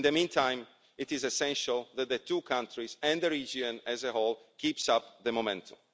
In the meantime, it is essential that the two countries and the region as a whole keep up the momentum.